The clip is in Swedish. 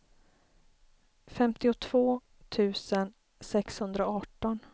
femtiotvå tusen sexhundraarton